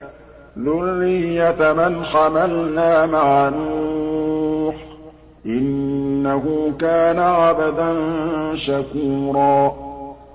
ذُرِّيَّةَ مَنْ حَمَلْنَا مَعَ نُوحٍ ۚ إِنَّهُ كَانَ عَبْدًا شَكُورًا